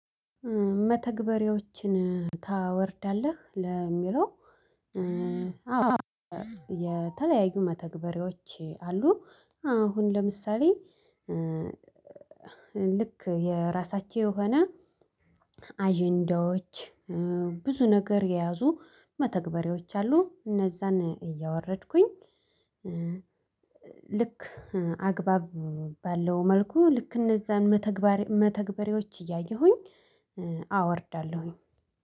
መተግበሬዎችን ታወርዳለህ? ለሚለው የተለያዩ መተግበሬዎች አሉ አሁን ለምሳሌ ልክ የራሳቸው የሆነ አዠንዳዎች ብዙ ነገር የያዙ መተግበሬዎች አሉ እነዛን እያወረድኩኝ ልክ አግባብ ባለው መልኩ ልክ እነዛን መተግበራ መተግበሬዎች እያየሁኝ አወርዳለሁ።